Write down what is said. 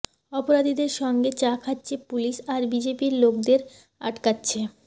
অপরাধীদের সঙ্গে চা খাচ্ছে পুলিশ আর বিজেপির লোকেদের আটকাচ্ছে